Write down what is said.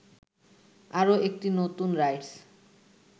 আরো একটি নতুন রাইডস